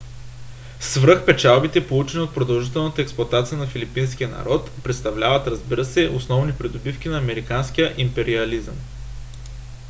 свръхпечалбите получени от продължителната експлоатация на филипинския народ представляват разбира се основни придобивки на американския империализъм